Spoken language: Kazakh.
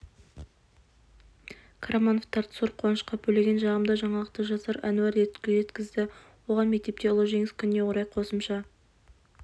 қарамановтарды зор қуанышқа бөлеген жағымды жаңалықты жасар әнуар жеткізді оған мектепте ұлы жеңіс күніне орай қосымша